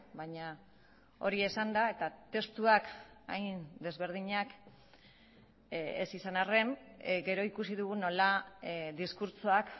baina hori esanda eta testuak hain desberdinak ez izan arren gero ikusi dugu nola diskurtsoak